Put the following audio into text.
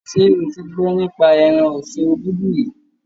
Ṣé o ti gbọ́ nípa ẹran ọ̀sin obudu rí?